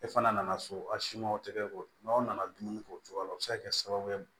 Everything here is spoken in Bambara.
E fana nana so a si ma aw tɛgɛ ko n'aw nana dumuni ko cogoya bɛ se ka kɛ sababu ye